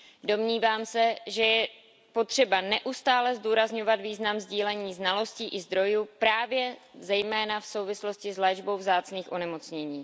Domnívám se, že je potřeba neustále zdůrazňovat význam sdílení znalostí i zdrojů právě zejména v souvislosti s léčbou vzácných onemocnění.